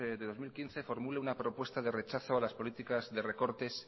de dos mil quince formule una propuesta de rechazo a las políticas de recortes